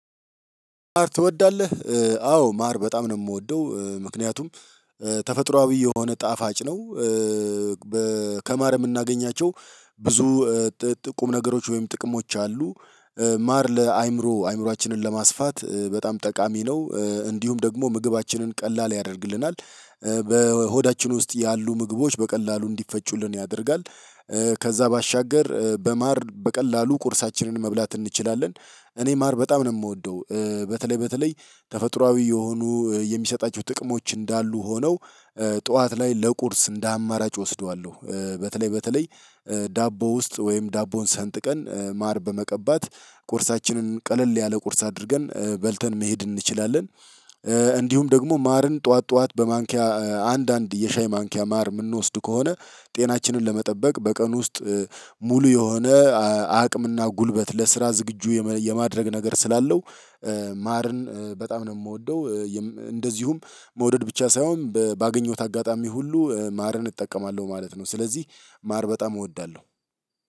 ማር ትወዳለህ አዎ ማር በጣም ነው የምወደው ምክንያቱም ተፈጥሮአዊ የሆነ ጣፋጭ ነው። ከማር የምናገኛቸው ብዙ ጥሁም ነገሮች ወይም ጥቅሞች አሉ። ማር ለአእምሮ አእምሮአችንን ለማስፋት በጣም ጠቃሚ ነው እንዲሁም ደግሞ ምግባችንን ቀላል ያደርግልናል በሆዳችን ውስጥ ያሉ ምግቦች በቀላሉ እንዲፈጩልን ያደርጋል። ከዛ ባሻገር በማር በቀላሉ ቁርሳችንን መብላት እንችላለን። እኔ ማር በጣም ነው የምወደው በተለይ በተለይ ተፈጥሮአዊ የሆኑ የሚሰጣቸው ጥቅሞች እንዳሉ ሆነው ጠዋት ላይ ለቁርስ እንደ አማራጭ ወስደዋለሁ በተለይ በተለይ ዳቦ ውስጥ ወይም ዳቦን ሰንጥቀን ማር በመቀባት ቁርሳችንን ቀለል ያለ ቁርስ አድርገን በልተን መሄድ እንችላለን። እንዲሁም ደግሞ ማርን ጠዋት ጠዋት በማንኪያ አንዳንድ የሻይ ማንኪያ ማር የምንወስድ ከሆነ ጤናችንን ለመጠበቅ በቀን ውስጥ ሙሉ የሆነ አቅምና ጉልበት ለስራ ዝግጁ የማድረግ ነገር ስላለው። ማርን በጣም ነው የምወደው። እንደዚሁም መውደድ ብቻ ሳይሆን ባገኘሁት አጋጣሚ ሁሉ ማርን እጠቀማለሁ ማለት ነው። ስለዚህ ማር በጣም እወዳለሁ።